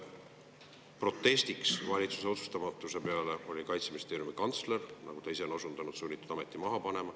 Protestiks valitsuse otsustamatuse peale oli Kaitseministeeriumi kantsler, nagu ta ise on osundanud, sunnitud ameti maha panema.